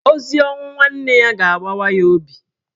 Ozi ọnwụ nwanne ya ga-agbawa ya obi.